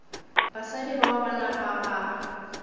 basadi bao ba napa ba